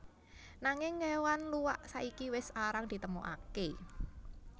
Nanging kéwan luwak saiki wis arang ditemokaké